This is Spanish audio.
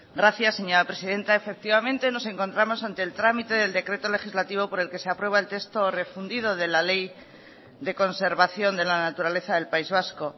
gracias señora presidenta efectivamente nos encontramos ante el trámite del decreto legislativo por el que se aprueba el texto refundido de la ley de conservación de la naturaleza del país vasco